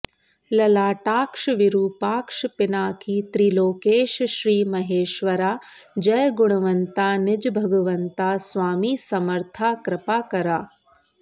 ललाटाक्ष विरुपाक्ष पिनाकी त्रिलोकेश श्री महेश्वरा जय गुणवंता निज भगवंता स्वामी समर्था कृपाकरा